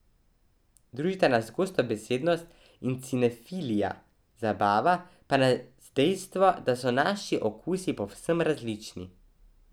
Družita nas gostobesednost in cinefilija, zabava pa nas dejstvo, da so naši okusi povsem različni.